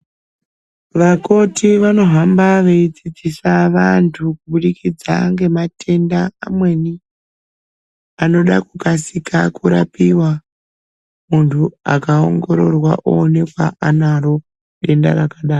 Vakoti vanohamba veyidzidzisa vantu kubudikidza ngematenda amweni, anoda kukasika kurapiwa, muntu akawongororwa owonekwa anaro denda rakadaro.